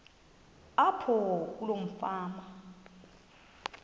apho kuloo fama